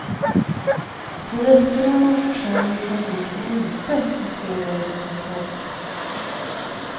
På resterna av försändelsen gick det inte att se varifrån den kom.